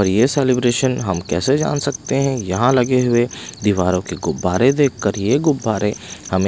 और ये सेलिब्रेशन हम कैसे जान सकते हैं यहाँ लगे हुए दीवारों के गुब्बारे देखकर ये गुब्बारे हमे--